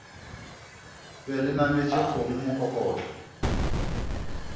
be le nametše kgomo mokokotlo